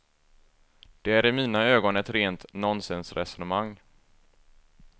Det är i mina ögon ett rent nonsensresonemang.